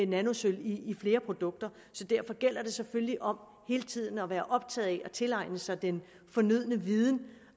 nanosølv i flere produkter så derfor gælder det selvfølgelig om hele tiden at være optaget af at tilegne sig den fornødne viden